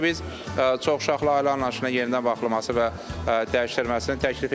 Təbii ki, biz çoxuşaqlı ailə anlayışına yenidən baxılması və dəyişdirilməsini təklif edirik.